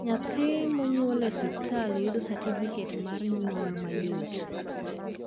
nyathi mo nyuol e osiptal yudo satifiket mat nyuol mayot